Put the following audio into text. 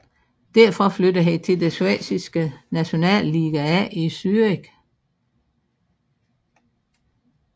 Derfra flyttede han til den schweiziske Nationalliga A i Zürich